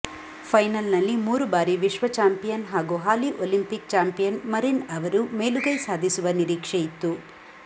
final ನಲ್ಲಿ ಮೂರು ಬಾರಿ ವಿಶ್ವ ಚಾಂಪಿಯನ್ ಹಾಗೂ ಹಾಲಿ ಒಲಿಂಪಿಕ್ ಚಾಂಪಿಯನ್ ಮರಿನ್ ಅವರು ಮೇಲುಗೈ ಸಾಧಿಸುವ ನಿರೀಕ್ಷೆಯಿತ್ತು